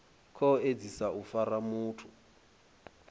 khou edzisa u fara muthu